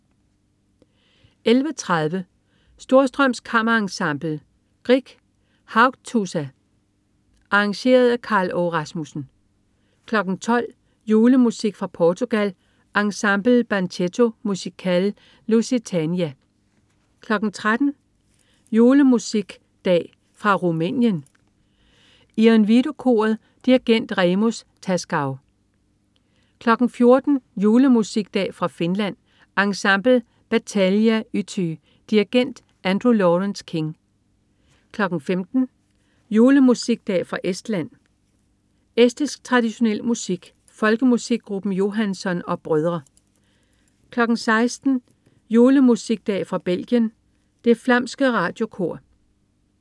11.30 Storstrøms Kammerensemble. Grieg: Haugtussa (arr. Karl Aage Rasmussen) 12.00 Julemusikdag fra Portugal. Ensemble Banchetto Musicale Lusitania 13.00 Julemusikdag fra Rumænien. Ion Vidu-koret. Dirigent: Remus Tascau 14.00 Julemusikdag fra Finland. Ensemble Battalia-yhtye. Dirigent: Andrew Lawrence-King 15.00 Julemusikdag fra Estland. Estisk traditionel musik. Folkemusikgruppen Johanson og brødre 16.00 Julemusikdag fra Belgien. Det Flamske Radiokor